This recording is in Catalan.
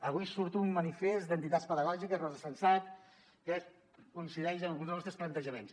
avui surt un manifest d’entitats pedagògiques rosa sensat que coincideix en alguns dels nostres plantejaments